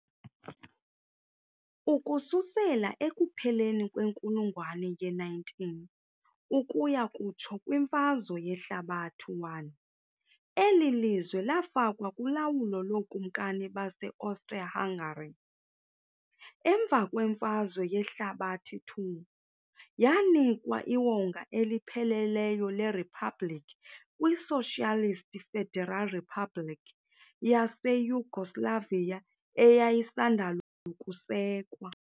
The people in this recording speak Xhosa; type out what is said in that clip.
Ukususela ekupheleni kwenkulungwane ye-19 ukuya kutsho kwiMfazwe Yehlabathi I, eli lizwe lafakwa kulawulo lookumkani baseAustria-Hungary. Emva kweMfazwe Yehlabathi II, yanikwa iwonga elipheleleyo leriphabliki kwiSocialist Federal Republic yaseYugoslavia eyayisandal' ukusekwa.